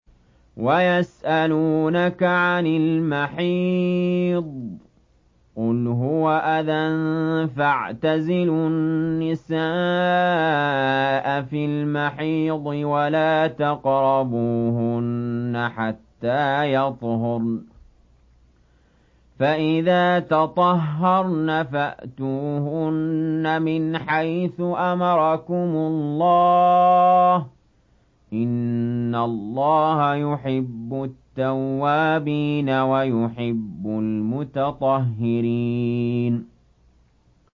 وَيَسْأَلُونَكَ عَنِ الْمَحِيضِ ۖ قُلْ هُوَ أَذًى فَاعْتَزِلُوا النِّسَاءَ فِي الْمَحِيضِ ۖ وَلَا تَقْرَبُوهُنَّ حَتَّىٰ يَطْهُرْنَ ۖ فَإِذَا تَطَهَّرْنَ فَأْتُوهُنَّ مِنْ حَيْثُ أَمَرَكُمُ اللَّهُ ۚ إِنَّ اللَّهَ يُحِبُّ التَّوَّابِينَ وَيُحِبُّ الْمُتَطَهِّرِينَ